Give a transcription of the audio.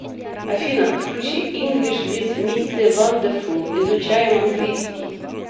афина включи инглиш виз мисте вандефул изучаем английский